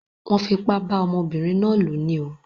Wón fipá bá ọmọbínrin náà lò ní o